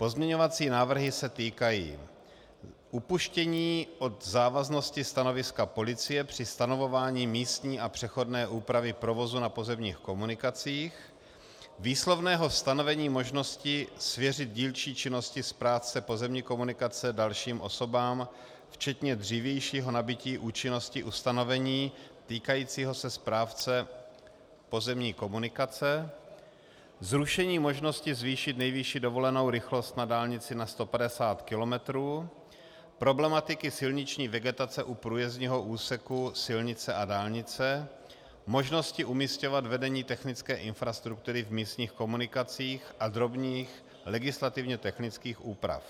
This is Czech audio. Pozměňovací návrhy se týkají upuštění od závaznosti stanoviska policie při stanovování místní a přechodné úpravy provozu na pozemních komunikacích, výslovného stanovení možnosti svěřit dílčí činnosti správce pozemní komunikace dalším osobám, včetně dřívějšího nabytí účinnosti ustanovení týkajícího se správce pozemní komunikace, zrušení možnosti zvýšit nejvyšší dovolenou rychlost na dálnici na 150 kilometrů, problematiky silniční vegetace u průjezdního úseku silnice a dálnice, možnosti umísťovat vedení technické infrastruktury v místních komunikacích a drobných legislativně technických úprav.